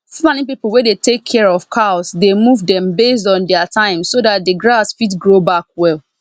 fulani people wey dey tak cia of cows dey move dem based on dia time so dat de grass fit grow back well